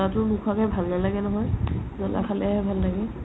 জলাটো নোখুৱা কে ভাল নালাগে নহয় জলা খালে হে ভাল লাগে